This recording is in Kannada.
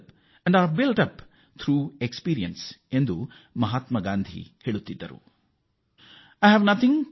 ಎಲ್ಲ ವಿಜ್ಞಾನಗಳೂ ಅನುಭವದ ಮೂಲಕ ಮತ್ತು ಅಭಿವೃದ್ಧಿಯನ್ನು ಸಾಧಿಸಿದವೇ ಆಗಿವೆ